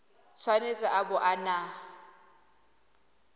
tshwanetse a bo a na